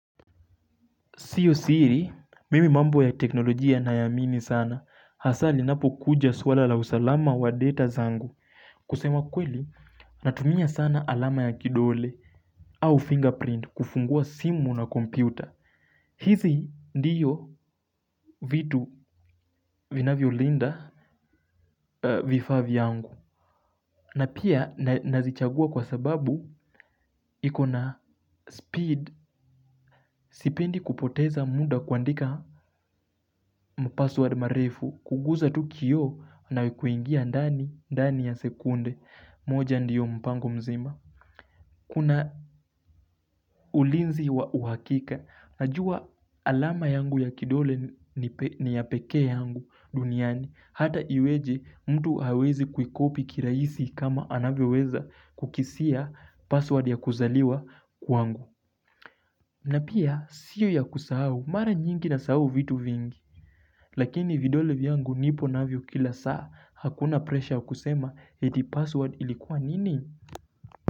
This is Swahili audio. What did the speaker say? Siyo siri, mimi mambo ya teknolojia nayaamini sana. Hasaa ninapokuja swala la usalama wa data zangu. Kusema kweli, natumia sana alama ya kidole au fingerprint kufungua simu na kompyuta. Hizi ndiyo vitu vinavyo linda vifaa vyangu. Na pia nazichagua kwa sababu iko na speed sipendi kupoteza muda kuandika mpassword marefu kuguza tu kio na kuingia ndani ndani ya sekunde moja ndiyo mpango mzima. Kuna ulinzi wa uhakika, najua alama yangu ya kidole ni ya pekee yangu duniani, hata iweje mtu hawezi kuikopi kiraisi kama anavyoweza kukisia password ya kuzaliwa kwangu. Na pia, sio ya kusahau, mara nyingi nasahau vitu vingi, lakini vidole vyangu nipo navyo kila saa, hakuna presha kusema eti password ilikuwa nini?